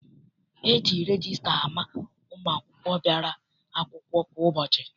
E ji regista ama ụmụ akwụkwọ bịara akwụkwọ kwa ụbọchị.